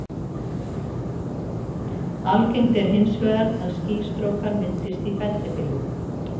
Algengt er hins vegar að skýstrókar myndist í fellibyljum.